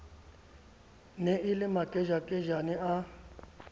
ne e le makejakejane a